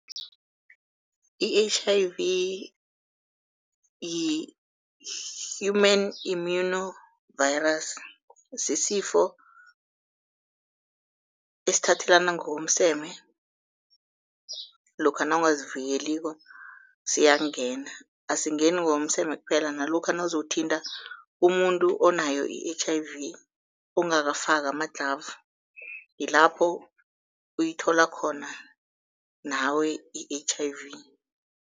I-H_I_V yi-Human immuno virus, sisifo esithathelana ngokomseme lokha nawungazivikeliko siyakungena. Asingeni ngokomseme kuphela nalokha nawuzothinta umuntu onayo i-H_I_V ungakafaki ama-glove yilapho uyithola khona nawe i-H_I_V.